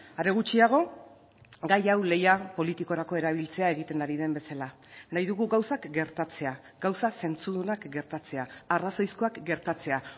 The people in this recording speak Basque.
are gutxiago gai hau lehia politikorako erabiltzea egiten ari den bezala nahi dugu gauzak gertatzea gauza zentzudunak gertatzea arrazoizkoak gertatzea